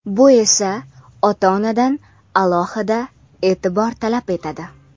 Bu esa ota-onadan alohida e’tibor talab etadi.